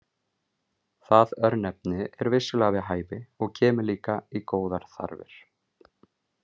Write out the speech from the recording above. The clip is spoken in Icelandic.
Það örnefni er vissulega við hæfi og kemur líka í góðar þarfir.